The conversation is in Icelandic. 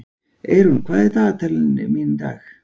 Eyrún, hvað er í dagatalinu mínu í dag?